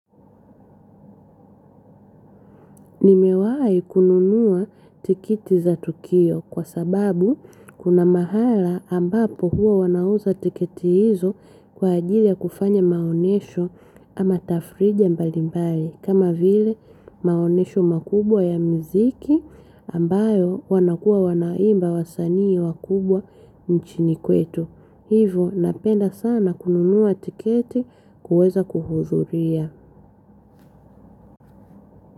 Nimewai kununua tikiti za tukio kwa sababu kuna mahala ambapo huwa wanauza tiketi hizo kwa ajili ya kufanya maonyesho ama tafrije mbalimbali kama vile maonyesho makubwa ya muziki ambayo wanakua wanaimba wasanii wakubwa nchini kwetu. Hivo napenda sana kununua tiketi kuweza kuhudhuria.